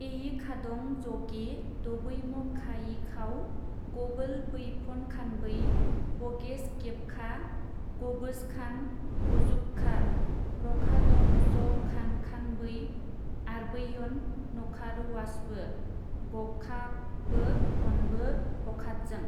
इयिखादं-जगे दबैमखायिखाव गबोलबैफनखानबै बगेसगेबखा गबोजखान बजुखखार रखादंजखानखानबै ओरबैयन नखारुआवसबो गखाखबो फनबो हखादजों।